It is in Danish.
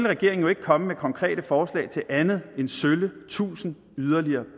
regeringen ikke komme med konkrete forslag til andet end sølle tusind yderligere